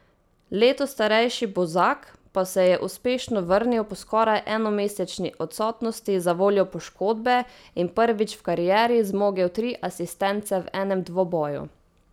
Leto starejši Bozak pa se je uspešno vrnil po skoraj enomesečni odsotnosti zavoljo poškodbe in prvič v karieri zmogel tri asistence v enem dvoboju.